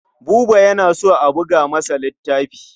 Buba yana so a buga masa littafi.